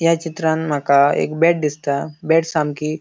या चित्रांत माका एक बेट दिसता बेट सामकी --